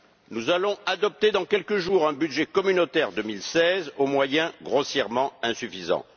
Nous allons adopter dans quelques jours un budget communautaire 2016 aux moyens grossièrement insuffisants.